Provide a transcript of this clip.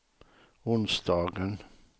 onsdagen